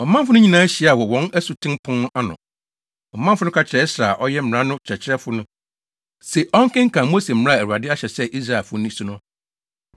ɔmanfo no nyinaa hyiaa wɔ wɔn Asuten Pon no ano. Ɔmanfo no ka kyerɛɛ Ɛsra a ɔyɛ mmara no kyerɛkyerɛfo no se ɔnkenkan Mose mmara a Awurade ahyɛ sɛ Israelfo nni so no.